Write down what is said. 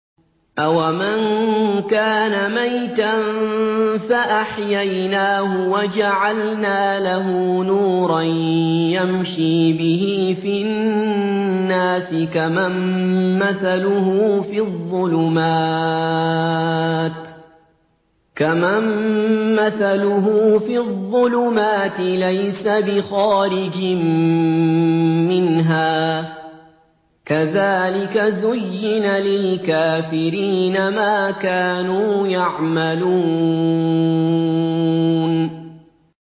أَوَمَن كَانَ مَيْتًا فَأَحْيَيْنَاهُ وَجَعَلْنَا لَهُ نُورًا يَمْشِي بِهِ فِي النَّاسِ كَمَن مَّثَلُهُ فِي الظُّلُمَاتِ لَيْسَ بِخَارِجٍ مِّنْهَا ۚ كَذَٰلِكَ زُيِّنَ لِلْكَافِرِينَ مَا كَانُوا يَعْمَلُونَ